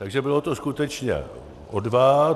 Takže bylo to skutečně o dva.